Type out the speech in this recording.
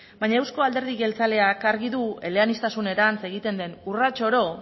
baina euzko alderdi jeltzaleak argi du eleaniztasunerantz egiten den urrats oro